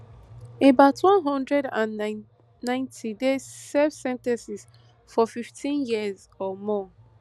about one hundred and ninety dey serve sen ten ces of fifteen years or more